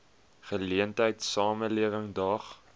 geleentheid samelewing daag